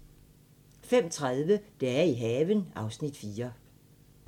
05:30: Dage i haven (Afs. 4)